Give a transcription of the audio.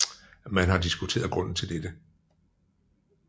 Man har diskuteret grunden til dette